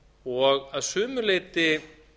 og að sumu leyti